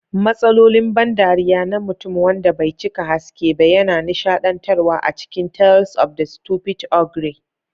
Matsalolin ban dariya na mutum wanda bai cika haske ba yana nishadantarwa a cikin Tales of the Stupid Ogre.